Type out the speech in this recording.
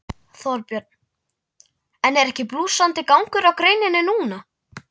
Þorbjörn: En er ekki blússandi gangur á greininni núna?